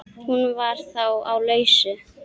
Hún var þá á lausu!